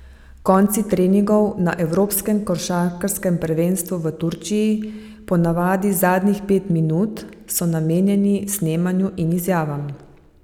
Konci treningov na evropskem košarkarskem prvenstvu v Turčiji, po navadi zadnjih pet minut, so namenjeni snemanju in izjavam.